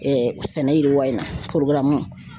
sɛnɛ yiriwa in na